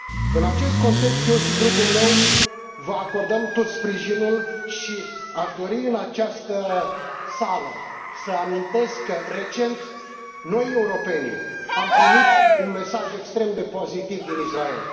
În acest context, eu și grupul meu vă acordăm tot sprijinul și aș dori, în această sală, să amintesc că, recent, noi, europenii, am primit un mesaj extrem de pozitiv din Israel.